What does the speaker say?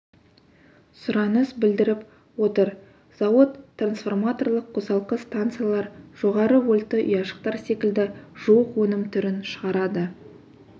сұраныс білдіріп отыр зауыт трансформаторлық қосалқы станциялар жоғары вольтты ұяшықтар секілді жуық өнім түрін шығарады